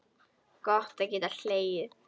Gott að geta hlegið.